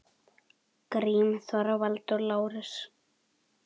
Grím, Þorvald og Lárus.